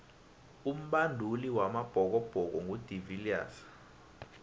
umbanduli wamabhokobhoko ngu de viliers